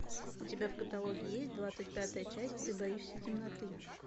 у тебя в каталоге есть двадцать пятая часть ты боишься темноты